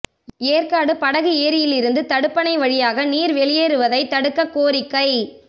ஏற்காடு படகு ஏரியிலிருந்து தடுப்பணை வழியாக நீா் வெளியேறுவதைத் தடுக்க கோரிக்கை